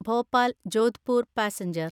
Bhopal Jodhpur passenger